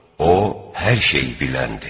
O hər şeyi biləndir.